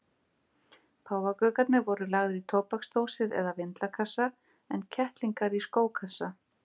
Páfagaukarnir voru lagðir í tóbaksdósir eða vindlakassa en kettlingar í skókassa.